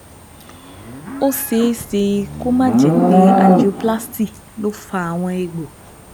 Ó ṣeé ṣe kó má jẹ́ pé Angioplasty ló fa àwọn egbò